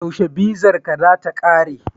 Yaushe bizarka za ta kare?